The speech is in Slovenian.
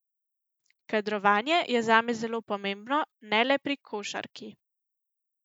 Kadrovanje je zame zelo pomembno, ne le pri košarki.